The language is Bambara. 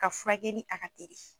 Ka furakɛli a ka teli